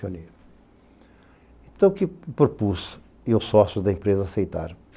Então o que o propus e os sócios da empresa aceitaram?